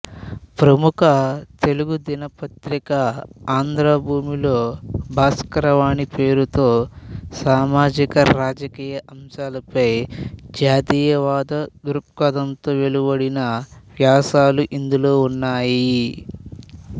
ప్రముఖ తెలుగు దినపత్రిక ఆంధ్రభూమిలో భాస్కరవాణి పేరుతో సామాజిక రాజకీయ అంశాలపై జాతీయవాద దృక్పథంతో వెలువడిన వ్యాసాలు ఇందులో ఉన్నాయి